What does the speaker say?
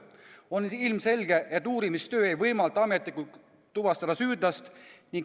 On ilmselge, et uurimistöö ei võimalda ametlikult süüdlast tuvastada.